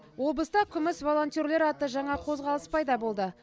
облыста күміс волонтерлер атты жаңа қозғалыс пайда болды